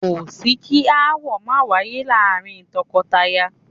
Kò sí kí aáwọ̀ máa wáyé láàárín tọkọtaya